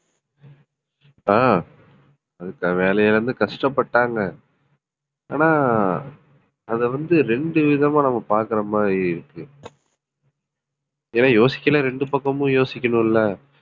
ஆஹ் வேலையிழந்து கஷ்டப்பட்டாங்க. ஆனா அதை வந்து ரெண்டு விதமா நம்ம பார்க்கிற மாதிரி இருக்கு ஏன்னா யோசிக்கையிலே ரெண்டு பக்கமும் யோசிக்கணும் இல்ல